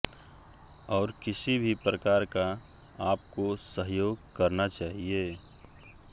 और किसी भी प्रकार का आप को सहयोग करना चाहिए